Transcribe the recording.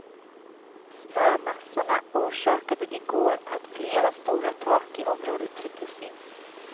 Snömassorna orsakade i går att flera stora tak i området trycktes in.